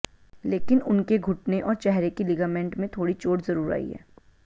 लेकिन उनके घुटने और चेहरे के लिगामेंट में थोड़ी चोट जरूर आई है